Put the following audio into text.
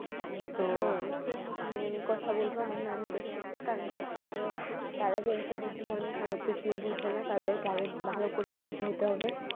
হ্যা সেইসব নিয়ে আমি কথা বলবো আমার নানুদের সাথে কারণ হচ্ছে যে তারা যেহেতু বৃদ্ধ মানুষ অনেক কিছুই বুঝেনা তাদেরকে আরো ভালো করে বুঝিয়ে দিতে হবে।